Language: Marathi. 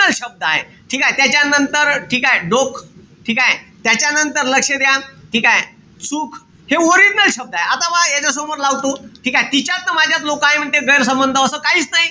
शब्द आय. ठीकेय? त्याच्यानंतर ठीकेय? डोक ठीकेय? त्याच्यानंतर लक्ष द्या. ठीकेय? चूक हे original शब्दय. आता पहा यांच्यासमोर लावतो ठीकेय? तिच्यात न माझ्यात लोक आहे म्हणते गौरसंबंध असं काईच नाई.